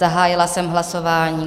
Zahájila jsem hlasování.